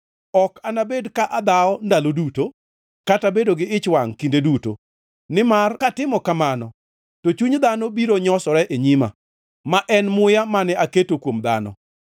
Ok anabed ka adhawo ndalo duto, kata bedo gi ich wangʼ kinde duto, nimar katimo kamano, to chuny dhano biro nyosore e nyima, ma en muya mane aketo kuom dhano.